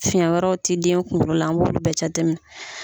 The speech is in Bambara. Fiyɛn wɛrɛw tɛ den kungolo la an b'o bɛɛ jate minɛ.